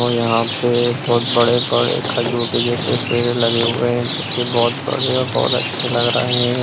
और यहाँ पे बहुत बड़े बड़े खजूर के जैसे पेड़ लगे हुए हैं जो की बहुत बड़े और बहुत अच्छे लग रहे हैं।